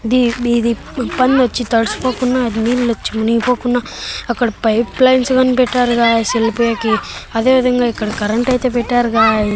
The ఇది ఇబ్బంది వచ్చి తడిసిపోకుండా నీళ్లు వచ్చి మునిగిపోకుండా అక్కడ పైప్లైన్స్ గాని పెట్టారు గైస్ వెళ్ళిపోయేకి అదేవిధంగా ఇక్కడ కరెంట్ అయితే పెట్టారు గాయ్స్ .